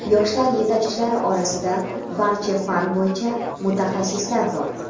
yoshlar yetakchilari orasida barcha fan bo‘yicha mutaxassislar bor.